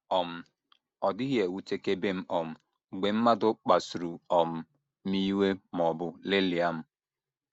“ um Ọ dịghị ewutekebe m um mgbe mmadụ kpasuru um m iwe ma ọ bụ lelịa m.